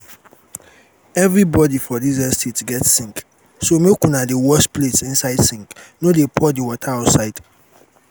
everybody for dis estate get sink so make una dey wash plate inside sink no dey pour the water outside